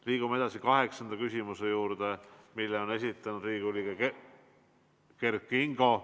Liigume edasi kaheksanda küsimuse juurde, mille on esitanud Riigikogu liige Kert Kingo.